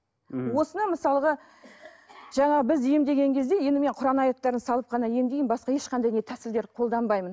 ммм осыны мысалғы жаңа біз емдеген кезде енді мен құран аяттарын салып қана емдеймін басқа ешқандай не тәсілдер қолданбаймын